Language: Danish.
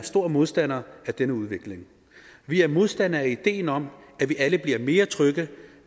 store modstandere af denne udvikling vi er modstandere af ideen om at vi alle bliver mere trygge